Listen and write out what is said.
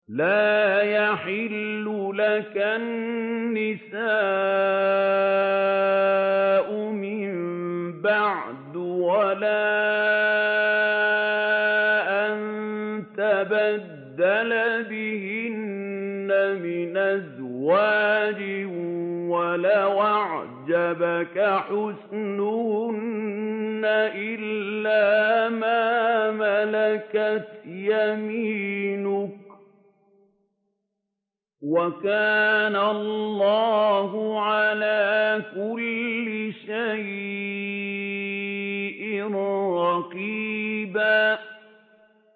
لَّا يَحِلُّ لَكَ النِّسَاءُ مِن بَعْدُ وَلَا أَن تَبَدَّلَ بِهِنَّ مِنْ أَزْوَاجٍ وَلَوْ أَعْجَبَكَ حُسْنُهُنَّ إِلَّا مَا مَلَكَتْ يَمِينُكَ ۗ وَكَانَ اللَّهُ عَلَىٰ كُلِّ شَيْءٍ رَّقِيبًا